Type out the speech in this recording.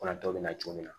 Kɔnatɔ bɛ na cogo min na